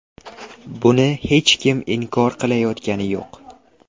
Buni hech kim inkor qilayotgani yo‘q.